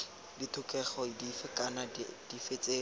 ditlhokego dife kana dife tse